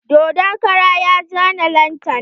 Dodon kara ya zane lantana.